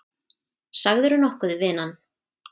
Sagðirðu nokkuð vinan?